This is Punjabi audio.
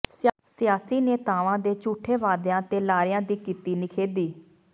ਸਿਆਸੀ ਨੇਤਾਵਾਂ ਦੇ ਝੂਠੇ ਵਾਅਦਿਆਂ ਤੇ ਲਾਰਿਆਂ ਦੀ ਕੀਤੀ ਨਿਖੇਧੀ